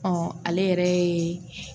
ale yɛrɛ ye